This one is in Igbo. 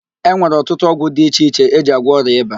E nwere ọtụtụ ọgwụ di iche iche eji agwọ ọrịa ịba.